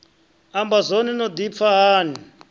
amba zwone no dipfa hani